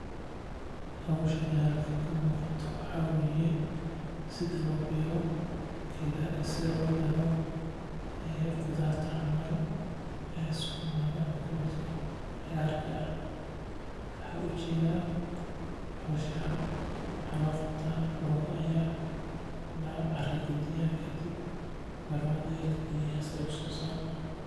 Howshan halkan ka muuqato waxaa waye sida loo beero qudaarta camal sukumaga ama kabachka waxaa lagu sameeya waa lacara gadiya kadib mirahiisa ayaa lagaliyaa si aay usoo saarmaan.